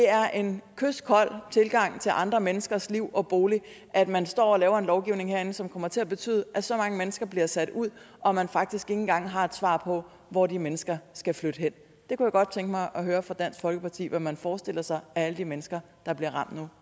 er en kyskold tilgang til andre menneskers liv og bolig at man står og laver en lovgivning herinde som kommer til at betyde at så mange mennesker bliver sat ud og at man faktisk ikke engang har et svar på hvor de mennesker skal flytte hen jeg kunne godt tænke mig at høre fra dansk folkeparti hvad man forestiller sig alle de mennesker der bliver